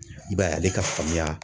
I b'a ye ale ka faamuya